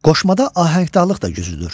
Qoşmada ahəngdarlıq da güclüdür.